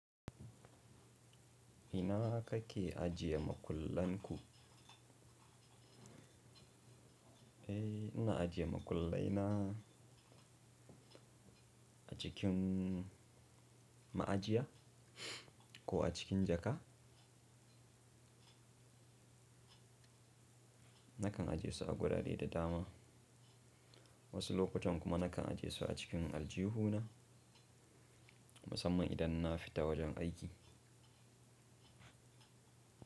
Ina kake ajiye makullan ku? Eh, ina ajiye makullai na a cikin ma'ajiya ko a cikin jaka. Nakan ajiye su a gurare da dama. Wasu lokutan kuma nakan ajiye su a cikin aljihuna, musamman idan na fita wajen aiki.